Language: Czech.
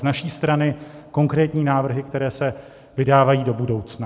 Z naší strany konkrétní návrhy, které se vydávají do budoucna.